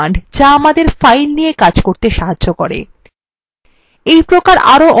এগুলি files এমন কিছু commands যা আমাদের files নিয়ে কাজ করতে সাহায্য করে